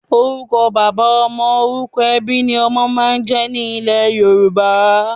Orúkọ bàbá ọmọ/orúkọ ẹbí ni ọmọ máa ń jẹ́ ní ilẹ́ Yorùbá.